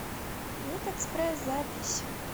ветэкспресс запись